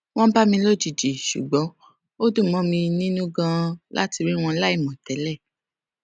wón bá mi lójijì ṣùgbọn ó dùn mó mi nínú ganan láti rí wọn láìmọ tẹlẹ